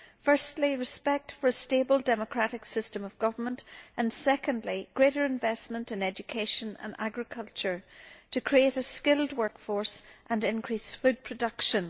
Firstly, respect for a stable democratic system of government and secondly, greater investment in education and agriculture to create a skilled workforce and increase food production.